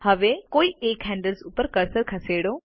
હવે કોઈ એક હેન્ડલ્સ ઉપર કર્સરને ખસેડો